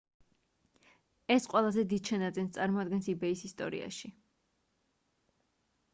ეს ყველაზე დიდ შენაძენს წარმოადგენს ebay-ის ისტორიაში